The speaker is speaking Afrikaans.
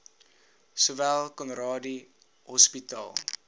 sowel conradie hospitaal